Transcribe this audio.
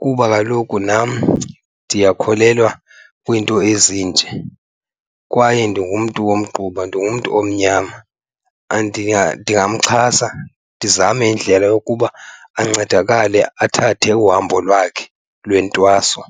kuba kaloku nam ndiyakholelwa kwiinto ezinje. Kwaye ndingumntu womgquba, ndingumntu omnyama. Ndingamxhasa ndizame indlela yokuba ancedakale athathe uhambo lwakhe lentwaso.